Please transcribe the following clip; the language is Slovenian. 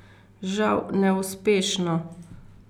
Žal neuspešno.